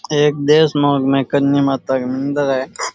एक देशनोक में करनी माता का मंदिर है।